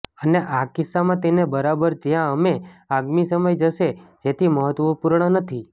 અને આ કિસ્સામાં તેને બરાબર જ્યાં અમે આગામી સમય જશે જેથી મહત્વપૂર્ણ નથી